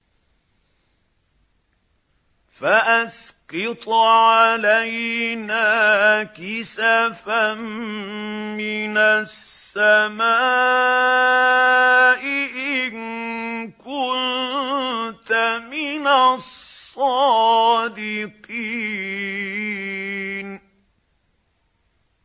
فَأَسْقِطْ عَلَيْنَا كِسَفًا مِّنَ السَّمَاءِ إِن كُنتَ مِنَ الصَّادِقِينَ